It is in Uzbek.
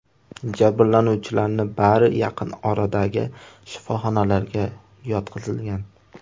Jabrlanuvchilarning bari yaqin oradagi shifoxonalarga yotqizilgan.